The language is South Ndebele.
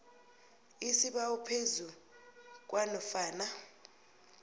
isibawo phezu kwanofana